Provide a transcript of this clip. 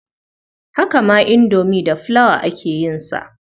Haka ma indomi da flour aka yin sa.